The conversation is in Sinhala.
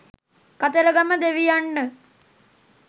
කතරගම දෙවියන්ට